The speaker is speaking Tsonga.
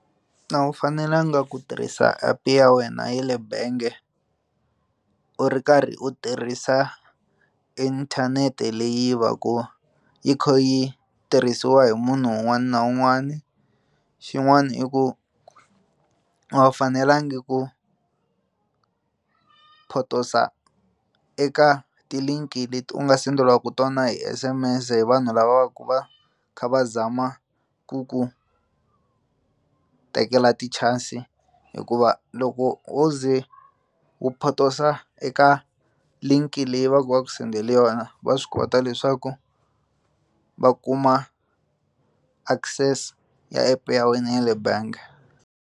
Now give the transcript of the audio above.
A wu fanelanga ku tirhisa app ya wena ya le bangi u ri karhi u tirhisa inthanete leyi va ku yi kha yi tirhisiwa hi munhu un'wana na un'wana xin'wana i ku a wu fanelanga ku potosa eka titliliniki leti u nga senderiwaku tona hi S_M_S hi vanhu lava ku va kha va zama ku ku tekela ti chances hikuva loko wo ze wu potosa eka linki leyi va ku va ku sendele yona va swi kota leswaku va kuma access ya app ya wena ya le bangi.